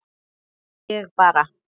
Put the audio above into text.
Ég bara